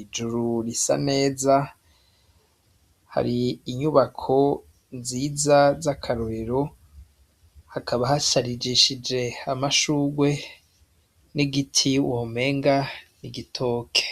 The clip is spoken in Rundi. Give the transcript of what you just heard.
ijuru risa neza, hari inyubako nziza z'akarorero hakaba hasharijishije amashuwe n'igiti womenga n'igitoke.